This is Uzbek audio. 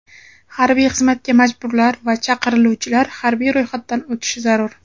Harbiy xizmatga majburlar va chaqiriluvchilar harbiy ro‘yxatdan o‘tishi zarur.